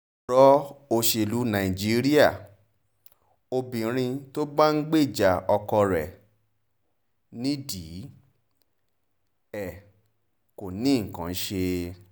ọ̀rọ̀ òṣèlú najiíríà obìnrin najiíríà obìnrin tó bá ń gbèjà ọkọ rẹ̀ nídìí ẹ̀ kò nìkan í ṣe